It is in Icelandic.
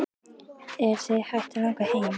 Er þig hætt að langa heim?